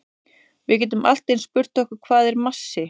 Við getum allt eins spurt okkur hvað er massi?